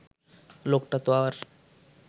লোকটা তো আর